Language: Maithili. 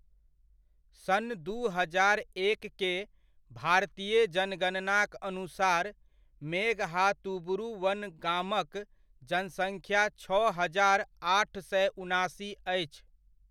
सन् दू हजार एक के भारतीय जनगणनाक अनुसार, मेघहातुबुरु वन गामक जनसङ्ख्या छओ हजार, आठ सय उनासी अछि।